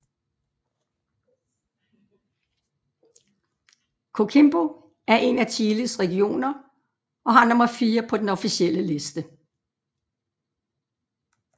Coquimbo er en af Chiles regioner og har nummer IV på den officielle liste